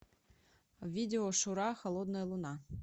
видео шура холодная луна